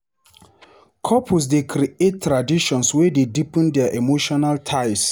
Couples dey create traditions wey dey deepen their emotional ties.